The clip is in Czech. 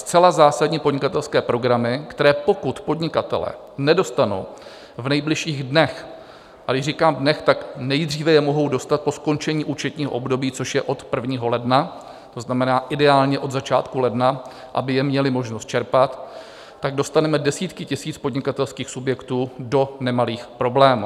Zcela zásadní podnikatelské programy, které pokud podnikatelé nedostanou v nejbližších dnech - a když říkám dnech, tak nejdříve je mohou dostat po skončení účetního období, co je od 1. ledna, to znamená ideálně od začátku ledna, aby je měli možnost čerpat - tak dostaneme desítky tisíc podnikatelských subjektů do nemalých problémů.